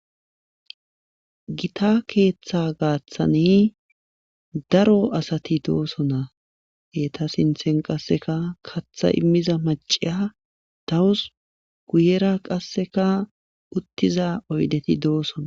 gita keeththa gaaththani daro asati doosona eta sinthen qasseka katha immiza maciya dawus guyera qasseka uttiza oydeti doosona.